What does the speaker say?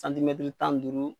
tan ni duuru.